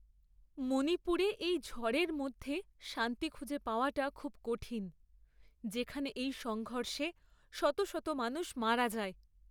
মণিপুরে এই ঝড়ের মধ্যে শান্তি খুঁজে পাওয়াটা খুব কঠিন, যেখানে এই সংঘর্ষে শত শত মানুষ মারা যায়।